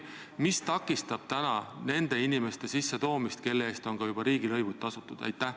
Mis takistab nende inimeste siia toomist, kelle eest on juba riigilõivud tasutud?